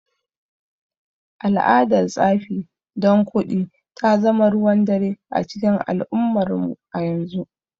Al’adar tsafi don kuɗi ta zama ruwan dare a cikin al’ummarmu a yanzu.